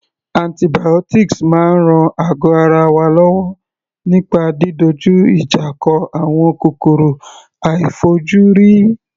Antibiotics máa ń ran àgọ́ ara wa lọ́wọ́ nípa didojú ìjà kọ àwọn kòkòrò àìfojúrí.